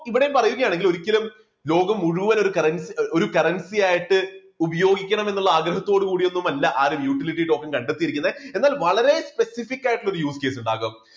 ഇവിടെ പറയുകയാണെങ്കിൽ ഒരിക്കലും ലോകം മുഴുവൻ ഒരു currency ഒരു currency ആയിട്ട് ഉപയോഗിക്കണം എന്നുള്ള ആഗ്രഹത്തോട് കൂടി ഒന്നും അല്ല ആരും utility token കണ്ടെത്തിയിരിക്കുന്നത്. എന്നാൽ വളരെ specific ആയിട്ടുള്ള ഒരു ഉണ്ടാകാം.